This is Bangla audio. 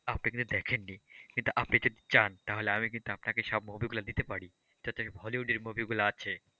আপনি কিন্তু দেখেননি কিন্তু আপনি যদি চান আমি কিন্তু আপনাকে সব movie গুলো দিতে পারি যাতে hollywood movie গুলো আছে,